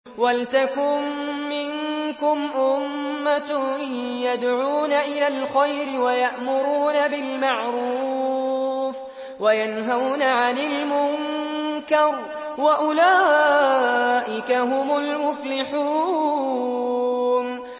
وَلْتَكُن مِّنكُمْ أُمَّةٌ يَدْعُونَ إِلَى الْخَيْرِ وَيَأْمُرُونَ بِالْمَعْرُوفِ وَيَنْهَوْنَ عَنِ الْمُنكَرِ ۚ وَأُولَٰئِكَ هُمُ الْمُفْلِحُونَ